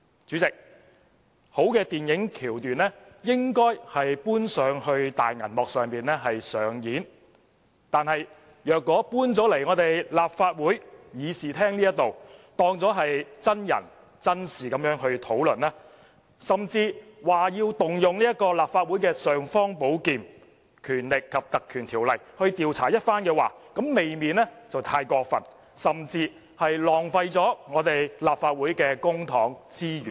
主席，好的電影橋段應該搬上大銀幕上演，但如果帶進立法會議事廳，當作真人真事來討論，甚至說要動用立法會的"尚方寶劍"——《立法會條例》去調查一番的話，這未免太過分，甚至是浪費立法會的公帑及資源。